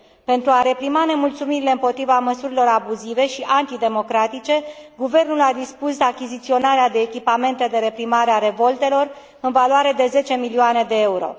Pentru a reprima nemulțumirile împotriva măsurilor abuzive și antidemocratice, guvernul a dispus achiziționarea de echipamente de reprimare a revoltelor, în valoare de 10 milioane de euro.